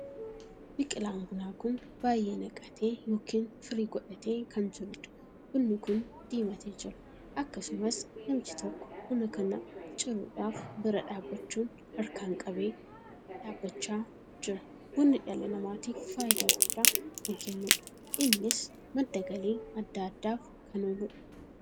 Biqilaan bunaa kun baay'ee naqatee ykn firii godhatee kan jiruudha. bunni kun diimatee jira. akkasumas namichi tokkoo buna kana ciruudhaaf biraa dhaabbachuun harkaan qabee dhaabbachaa jira. bunni dhala namaatiif faayidaa guddaa kan kennuudha. innis madda galii addaa addaaf kan ooludha.